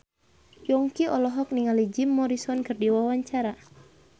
Yongki olohok ningali Jim Morrison keur diwawancara